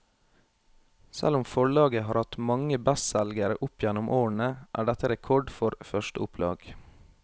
Selv om forlaget har hatt mange bestselgere opp gjennom årene, er dette rekord for førsteopplag.